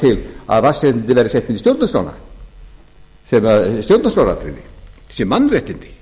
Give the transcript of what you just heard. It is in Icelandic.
til að vatnsréttindin verði sett inn í stjórnarskrána sem stjórnarskráratriði sem mannréttindi